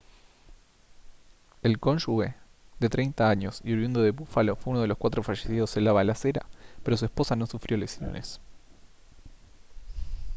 el cónyuge de 30 años y oriundo de búfalo fue uno de los cuatro fallecidos en la balacera pero su esposa no sufrió lesiones